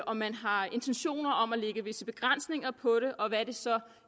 om man har intentioner om at lægge visse begrænsninger på det og hvad det så